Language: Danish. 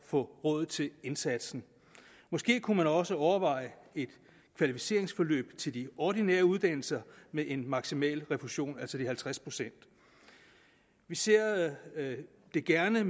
få råd til indsatsen måske kunne man også overveje et kvalificeringsforløb til de ordinære uddannelser med en maksimal refusion altså de halvtreds procent vi ser det gerne